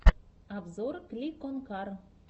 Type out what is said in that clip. обзор кликонкар